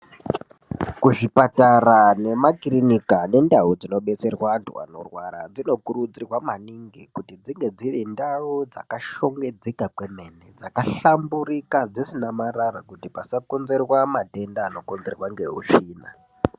Kuzvipatara nemakirinika nendawu dzinobetserwa vantu vanorwara, dzinokurudzirwa maningi kuti dzinge dzirindawo dzakashongedzeka kwemweni, dzakahlamburika dzisina marara kuti pasakonzerwa madenda anokonzerwa ngehusvina.